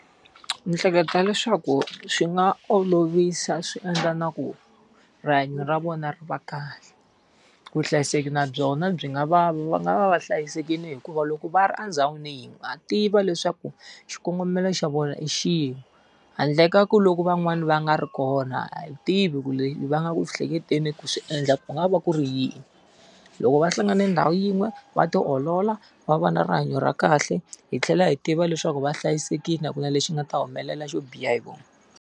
Ndzi hleketa leswaku swi nga olovisa swi endla na ku rihanyo ra vona ri va kahle. Vuhlayiseki na byona byi nga va va nga va va hlayisekile hikuva loko va ri endhawini ha tiva leswaku xikongomelo xa vona i xin'we. Handle ka ku loko van'wani va nga ri kona a yi tivi ku va nga ku hleketeni ku swi endla ku nga va ku ri yini. Loko va hlangane ndhawu yin'we, va ti olola, va va na rihanyo ra kahle, hi tlhela hi tiva leswaku va hlayisekile a ku na lexi nga ta humelela xo biha hi vona.